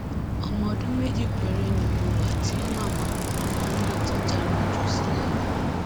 ọmọọdún méjì péré ni mo wà tí màmá màmá náà ti já mi jù sílẹ lọ